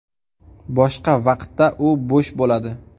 Boshqa vaqtda u bo‘sh bo‘ladi.